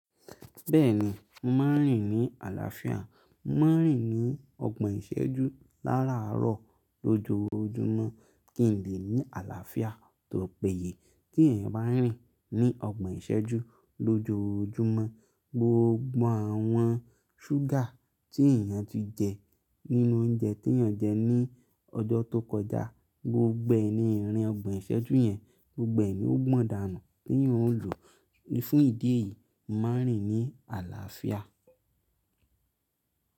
Bẹ́ẹ̀ni, mo maá rìn ní àlàáfíà. Maá rìn ní ọgbọ̀n ìṣẹ́jú láràárọ̀ lójoojúmọ́ kí n lè ní àlàáfíà tó péye. Tí ẹ̀eyan bá n rìn ní ọgbọ̀n ìṣẹ́jú lójoojúmọ́, gbogbo àwọn ṣúgà tí èèyàn ti jẹ nínú oúnjẹ tí eeyàn jẹ ní ọjọ́ tó kọjá, gbogbo ẹ̀ ní ìrìn ọgbọ̀n ìṣẹ́jú yẹn gbogbo ẹ̀ ní ó gbọ́n dànù tí eeyan ò lò fún ìdí èyí. Má rìn ní àlàáfíà.